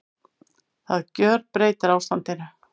Það gjörbreytir ástandinu